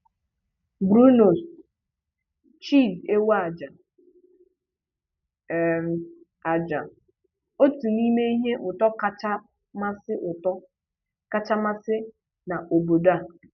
«Brunost» – chíìz èwù àjà um àjà, otu n’ime ihe ùtó kacha masị́ ùtó kacha masị́ na obodo a;